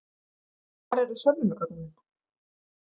Hvar eru sönnunargögnin?